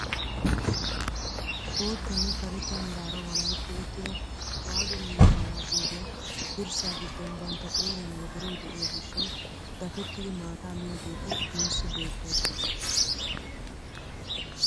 Boottanne karetta meraara walahetti uttida waadu miizzaa yaagiyoogee dirssaa giddon banttaa qooriyaan wodoroy de'iyoo gishshawu dafettiidi maataa miyaageti nuusi beettoosona.